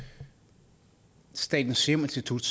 statens serum institut